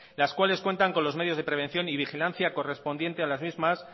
las cuales cuentan con los medios de prevención y vigilancia correspondiente a las mismas